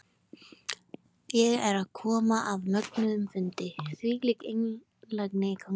Ég er að koma af mögnuðum fundi, þvílík einlægni í gangi.